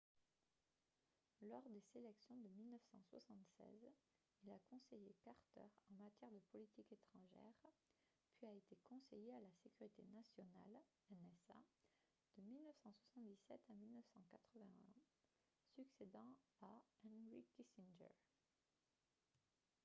lors des sélections de 1976 il a conseillé carter en matière de politique étrangère puis a été conseiller à la sécurité nationale nsa de 1977 à 1981 succédant à henry kissinger